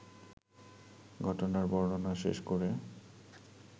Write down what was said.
ঘটনার বর্ণনা শেষ করে